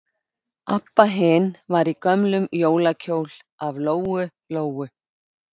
Abba hin var í gömlum jólakjól af Lóu Lóu.